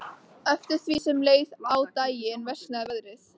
Eftir því sem leið á daginn versnaði veðrið.